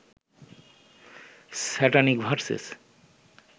satanic versus